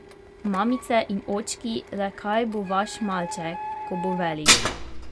Mamice in očki, le kaj bo vaš malček, ko bo velik?